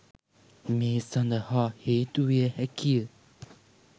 මේ සඳහා හේතු විය හැකිය.